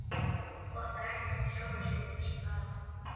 Botnar ekkert í sjálfri sér þessa dagana.